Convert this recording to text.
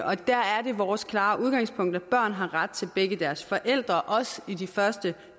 og der er det vores klare udgangspunkt at børn har ret til begge deres forældre også i de første